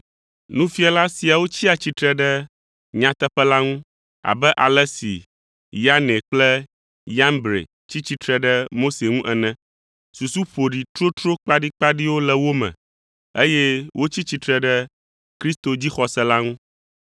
Nufiala siawo tsia tsitre ɖe nyateƒe la ŋu abe ale si Yane kple Yambre tsi tsitre ɖe Mose ŋu ene. Susu ƒoɖi totro kpaɖikpaɖiwo le wo me, eye wotsi tsitre ɖe Kristo dzixɔse la ŋu.